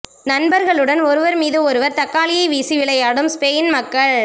நண்பர்களுடன் ஒருவர் மீது ஒருவர் தக்காளியை வீசி விளையாடும் ஸ்பெயின் மக்கள்